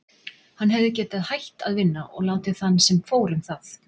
Hann hefði getað hætt að vinna og látið þann sem fór um það.